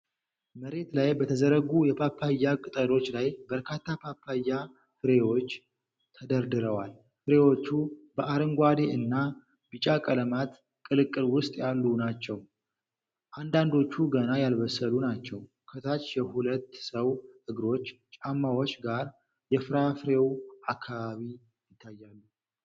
መሬት ላይ በተዘረጉ የፓፓያ ቅጠሎች ላይ በርካታ ፓፓያ ፍራፍሬዎች ተደርድረዋል። ፍሬዎቹ በአረንጓዴ እና ቢጫ ቀለማት ቅልቅል ውስጥ ያሉ ናቸው፣ አንዳንዶቹ ገና ያልበሰሉ ናቸው። ከታች የሁለት ሰው እግሮች ጫማዎች ጋር የፍራፍሬው አካባቢ ይታያል።